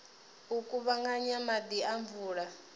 u kuvhanganya maḓi a mvula